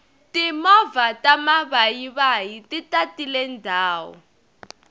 timovha ta mavayivayi ti tatile ndhawu